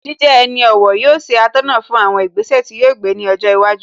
Jíjẹ ẹni ọ̀wọ̀ yóò ṣe atọ́nà fún àwọn ìgbésẹ̀ tí yóò gbé ní ọjọ́ iwájú